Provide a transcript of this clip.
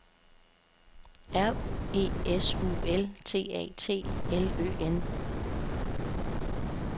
R E S U L T A T L Ø N